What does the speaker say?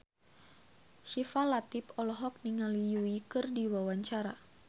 Syifa Latief olohok ningali Yui keur diwawancara